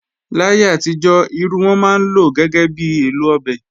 Láyé àtijọ́, irú wọ́n máa ń lọ gẹ́gẹ́ bi èlò ọbẹ̀